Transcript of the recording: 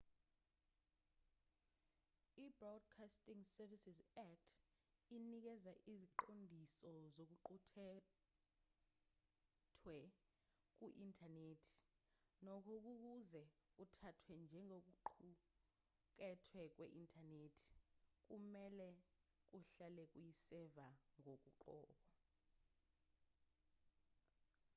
ibroadcasting services act inikeza iziqondiso zokuqukethwe kwe-inthanethi nokho ukuze kuthathwe njengokuqukethwe kwe-inthanethi kumelwe kuhlale kuyi-server ngokoqobo